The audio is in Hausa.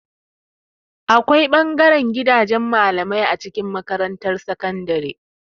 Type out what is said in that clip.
Akwai ɓangaren gidajen malamai a cikin makarantar sakandare.